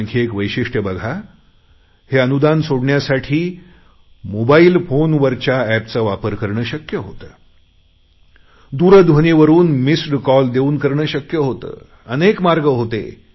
आणखी एक वैशिष्ट्य बघा हे अनुदान सोडण्यासाठी मोबाईल फोनवरच्या एपचा वापर करणे शक्य होते दूरध्वनीवरुन मिस्ड कॉल देऊन करणे शक्य होते अनेक मार्ग होते